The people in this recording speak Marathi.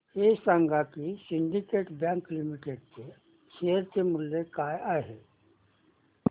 हे सांगा की सिंडीकेट बँक लिमिटेड चे शेअर मूल्य काय आहे